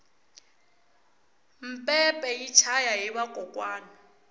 mpepe yi chaya hi vakokwani